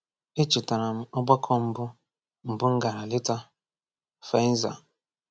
Echetara m ọgbakọ mbụ mbụ m gara leta—Faenza.